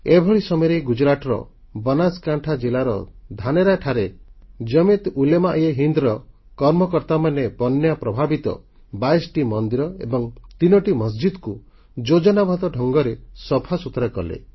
ଏଭଳି ସମୟରେ ଗୁଜରାଟର ବନାସକାଁଠା ଜିଲ୍ଲାର ଧାନେରାଠାରେ ଜାମିୟାତ୍ ଉଲେମାଏହିନ୍ଦ୍ ର କର୍ମକର୍ତ୍ତାମାନେ ବନ୍ୟା ପ୍ରଭାବିତ 22ଟି ମନ୍ଦିର ଏବଂ 3ଟି ମସଜିଦ୍ କୁ ଯୋଜନାବଦ୍ଧ ଢଙ୍ଗରେ ସଫାସୁତୁରା କଲେ